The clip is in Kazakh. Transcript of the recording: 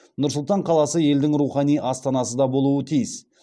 нұр сұлтан қаласы елдің рухани астанасы да болуы тиіс